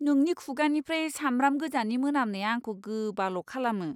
नोंनि खुगानिफ्राय सामब्राम गोजानि मोनामनाया आंखौ गोबाल' खालामो!